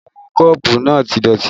Àwọn kọ́ọ̀bù náà ti dọ̀tí